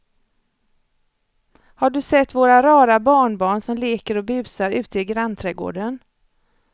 Har du sett våra rara barnbarn som leker och busar ute i grannträdgården!